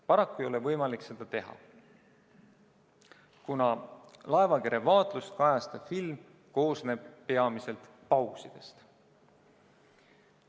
Paraku ei ole võimalik seda teha, kuna laevakere vaatlust kajastav film koosneb peamiselt pausidest.